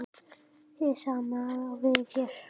Hið sama á við hér.